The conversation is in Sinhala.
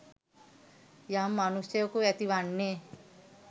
යම් මනුෂ්‍යයෙකු ඇති වන්නේ